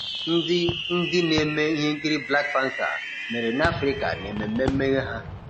ndị ndị na-eme ihe nkiri Black Panther mere nAfrịka nememme mmeghe ha.